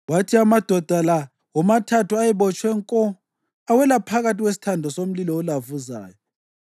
kwathi amadoda la womathathu ayebotshwe nko awela phakathi kwesithando somlilo olavuzayo.